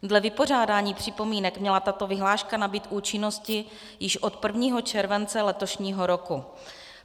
Dle vypořádání připomínek měla tato vyhláška nabýt účinnosti již od 1. července letošního roku.